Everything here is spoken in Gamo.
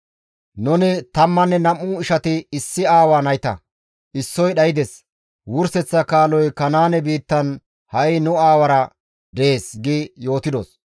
Nuni tammanne nam7u ishati issi aawa nayta; issoy dhaydes; wurseththa kaaloy Kanaane biittan ha7i nu aawara dees› gi yootidos.